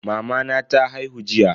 Mamana ta haihu jiya.